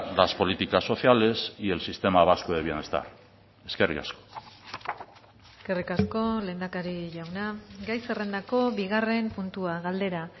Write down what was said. las políticas sociales y el sistema vasco de bienestar eskerrik asko eskerrik asko lehendakari jauna gai zerrendako bigarren puntua galdera